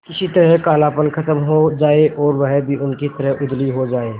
किसी तरह कालापन खत्म हो जाए और वह भी उनकी तरह उजली हो जाय